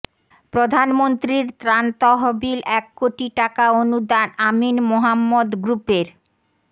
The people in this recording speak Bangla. প্রধানমন্ত্রীর ত্রাণ তহবিল এক কোটি টাকা অনুদান আমিন মোহাম্মদ গ্রুপের